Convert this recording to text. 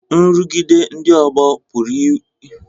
Nrụgide ndị ọgbọ pụrụ inwe mmetụta dị ike n'omume